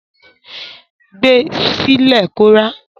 Gbe sí lẹ̀ kó rá.